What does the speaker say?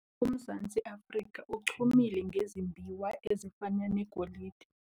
Umzantsi Afrika uchumile ngezimbiwa ezifana negolide.